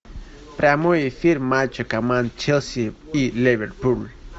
прямой эфир матча команд челси и ливерпуль